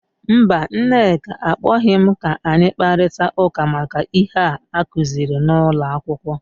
Mba, Nneka akpọghị m ka anyi kparịta ụka maka ihe a akuziri n’ụlọ akwụkwọ.